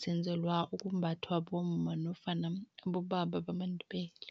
senzelwa ukumbathwa bomma nofana abobaba bamaNdebele.